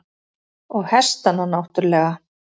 Og hestana náttúrlega.